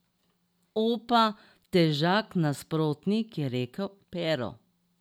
Opa, težak nasprotnik, je rekel Pero.